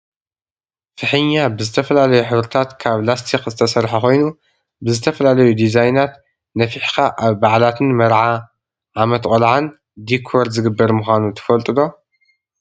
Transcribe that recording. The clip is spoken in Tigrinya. ፍሕኛ ብዝተፈላለዩ ሕብርታት ካብ ላስቲክ ዝተሰረሓ ኮይኑ፣ ብዝተፈላለዩ ዲዛይናት ነፈሕካ ኣብ ባዓላትን መርዓ፣ ዓመት ቆልዓን ዲኮር ዝግበር ምኳኑ ትፈልጡ ዶ?